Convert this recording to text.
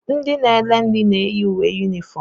Ndị na ere nri na-eyi uwe unifom.